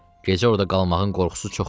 Gecə orda qalmağın qorxusu çoxdur.